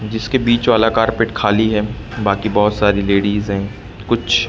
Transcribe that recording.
जिसके बीच वाला कारपेट खाली है। बाकी बहुत सारी लेडिस है। कुछ--